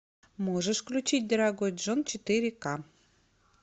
можешь включить дорогой джон четыре ка